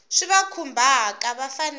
swi va khumbhaka va fanele